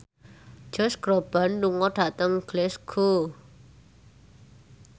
Josh Groban lunga dhateng Glasgow